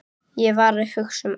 Ég var að hugsa um annað.